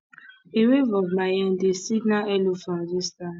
a wave of my hand dey signal hello from a distance